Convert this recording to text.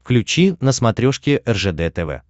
включи на смотрешке ржд тв